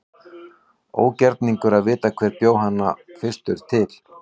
Ógerningur er að vita hver bjó hana fyrstur til.